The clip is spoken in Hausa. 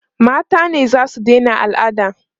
mata ne zasu Daina alada